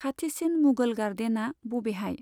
खाथिसिन मुघल गार्डेना बबेहाय?